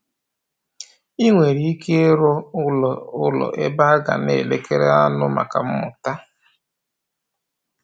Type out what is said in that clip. I nwere ike ịrụ ụlọ ụlọ ebe a ga na-elekere aṅụ maka mmụta